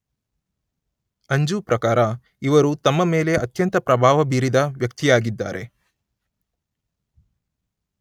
ಅಂಜು ಪ್ರಕಾರ ಇವರು ತಮ್ಮ ಮೇಲೆ ಅತ್ಯಂತ ಪ್ರಭಾವಬೀರಿದ ವ್ಯಕ್ತಿಯಾಗಿದ್ದಾರೆ